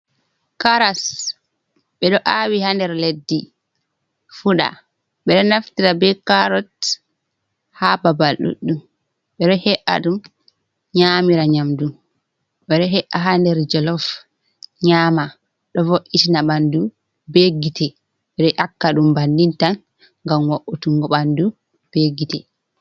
Karas ɓe ɗo aawi ha nder leddi fuda, ɓeɗo nafttira be carot ha babal ɗuɗɗum, ɓeɗo he’a ɗum nyamira nyamdu, ɓeɗo he’a ha nder jalof nyama, do vo’itina bandu be gite ɓeɗo yakka ɗum bani tan ngam wautungo bandu be gite.